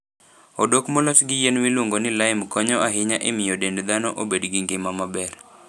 Odok molos gi yien miluongo ni lime konyo ahinya e miyo dend dhano obed gi ngima maber.